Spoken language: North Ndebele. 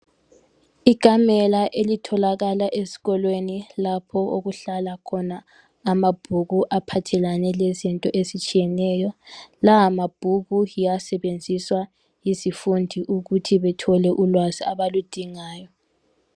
ikamela elitholakala ezikolweni lapho okuhlala khona amabhuku aphathelane lezinto ezitshiyeneyo lawa mabhuku yiwo asebenziswa yizifundi ukuthi bethole ulwazi abaludingayo